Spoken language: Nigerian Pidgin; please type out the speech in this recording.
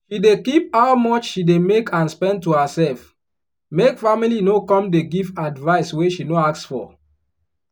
she dey keep how much she dey make and spend to herself make family no come dey give advice wey she no ask for.